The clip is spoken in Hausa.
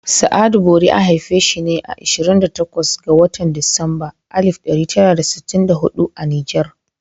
Sa'adu Bori an haifi shi ne a 28 ga watan Disamber 1964 a Niger.